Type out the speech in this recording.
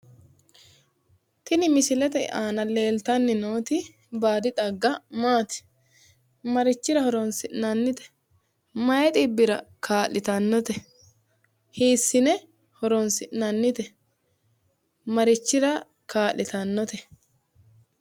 tini misilete aana leeltani nooti baadi xagga maati?,marichira horonsi'nanite?,mayi xibbira kaa'litannote?, hiissine horonsi'nanite?,mayi xibbira kaa'litannote? ,